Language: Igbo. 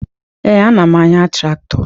Ee, ana m anya traktọ